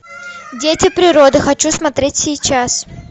дети природы хочу смотреть сейчас